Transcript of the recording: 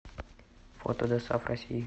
фото досааф россии